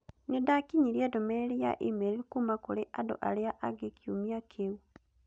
Nĩndakinyĩire ndũmĩrĩri ya e-mail kuuma kũrĩ andũ arĩa angĩ kiumia kĩu.